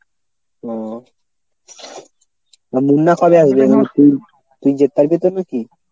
ও তা মুন্না কবে আসবে ‍তুই যেতে তবে কী?